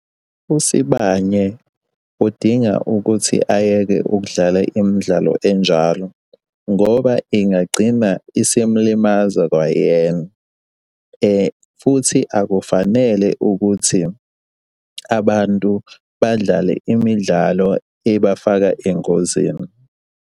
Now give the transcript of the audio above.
USibanye, udinga ukuthi ayeke ukudlala imidlalo enjalo, ngoba ingagcina isimulimaza kwayena, futhi akufanele ukuthi abantu badlale imidlalo ebafaka engozini.